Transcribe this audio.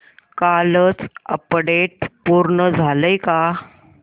कालचं अपडेट पूर्ण झालंय का